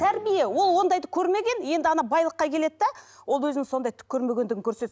тәрбие ол ондайды көрмеген енді ана байлыққа келеді де ол өзінің сондай түк көрмегендіген